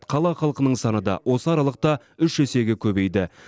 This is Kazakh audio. қала халқының саны да осы аралықта үш есеге көбейді